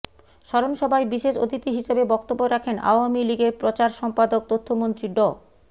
স্মরণসভায় বিশেষ অতিথি হিসেবে বক্তব্য রাখেন আওয়ামী লীগের প্রচার সম্পাদক তথ্যমন্ত্রী ড